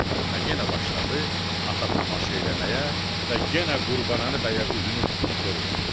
Və yenə başladı ata tamaşa eləməyə və yenə Qurbanəli bəyə üzünü tutub soruşdu.